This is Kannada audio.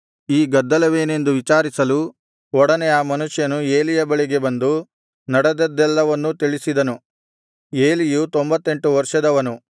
ಈ ಗದ್ದಲವೇನೆಂದು ವಿಚಾರಿಸಲು ಒಡನೆ ಆ ಮನುಷ್ಯನು ಏಲಿಯ ಬಳಿಗೆ ಬಂದು ನಡೆದದ್ದೆಲ್ಲವನ್ನೂ ತಿಳಿಸಿದನು ಏಲಿಯು ತೊಂಭತ್ತೆಂಟು ವರ್ಷದವನು